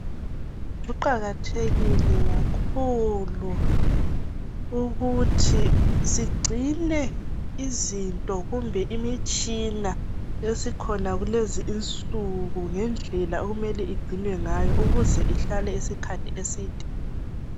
Kuqakathekile kakhulu ukuthi sigcine izinto kumbe imitshina esikhona kulezinsuku ngendlela okumele igcinwe ngayo ukuze ihlale isikhathi eside.